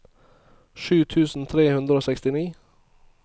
sju tusen tre hundre og sekstini